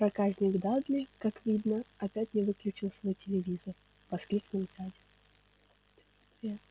проказник дадли как видно опять не выключил свой телевизор воскликнул дядя